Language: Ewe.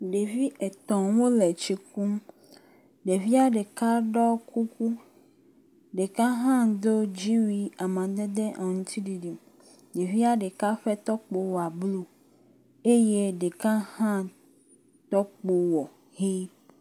Ɖevi etɔ̃ wole tsi kum, ɖevia ɖeka ɖɔ kuku, ɖeka do dziwui amadede aŋutiɖiɖi, ɖevia ɖeka ƒe tɔkpo wa blu eye ɖeka hã tɔkpo wɔ ʋɛ̃.